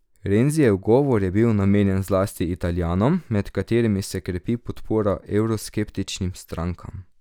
Renzijev govor je bil namenjen zlasti Italijanom, med katerimi se krepi podpora evroskeptičnim strankam.